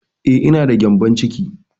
Eh, ina da gƴambon ciki